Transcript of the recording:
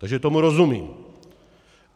Takže tomu rozumím.